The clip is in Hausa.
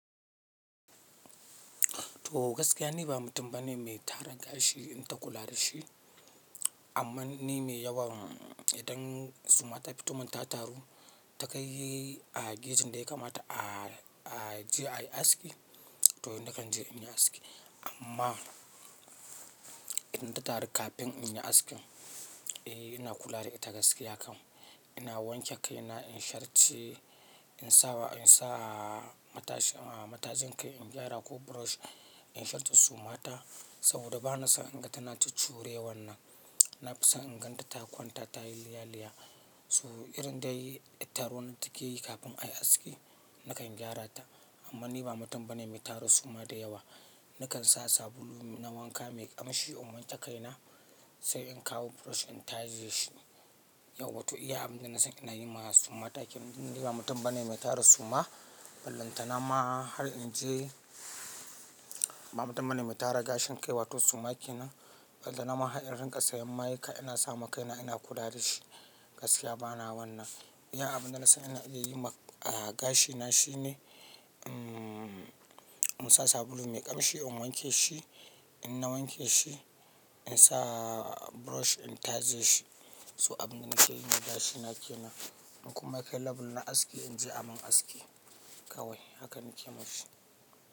To gaskiya ni ba mutum bane mai tara gashi in ta kula da shi, amma ni mai yawa idan suma ta fito min ta taru ta ka yi a gejin da ya kamata a, a je a yi aski to ni da kan je in yi aski. Amma idan ta taru kafin in yi askin, eh ina kula da ita gaskiya kam. Ina wanke kai na in shartce, in sa wa, in sa a matajin kai in gyara ko brush in shartce suma ta saboda ba na son in ga tana cucure wannan. Na fi son in gan ta kwanta ta yi liyaliyya. So irin da yar taronan da take yi kafin a yi aski nakan gyara ta. Amma ni ba mutum bane mai tara suma da yawa. Ni kan sa sabulu na wanka mai ƙamshi in wanke kai na sai in kawo brush in taje shi. Yau watan iya abin da na san ina yi ma suma ta yake. Ni ba mutum bane mai tara suma. Bala tana har inje ba mutum bane mai tara gashin kai wato suma kenan. Ballanta na ma har in rinƙa sayan ma'aika ina sa ma kai na ina kula da shi. Gaskiya ba na wannan. Iya abin da na san ina iya yi ma, a gashi na shine in sa sabulu mai ƙamshi in wanke shi. In na wanke shi in sa brush in taje shi. So abin da na ke yi ne gashi na ke nan. In kuma kai label na aski in je a mun aski kawai. Haka na ke mishi.